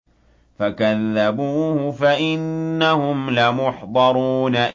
فَكَذَّبُوهُ فَإِنَّهُمْ لَمُحْضَرُونَ